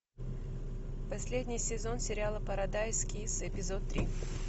последний сезон сериала парадайз кисс эпизод три